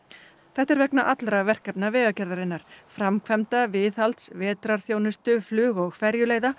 þetta er vegna allra verkefna Vegagerðarinnar framkvæmda viðhalds vetrarþjónustu flug og